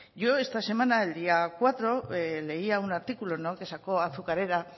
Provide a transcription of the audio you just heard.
yo esta semana el día cuatro leía un artículo que sacó azucarera